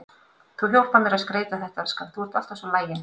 Þú hjálpar mér að skreyta þetta, elskan, þú ert alltaf svo lagin.